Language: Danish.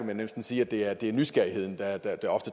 vil næsten sige at det ofte er nysgerrigheden der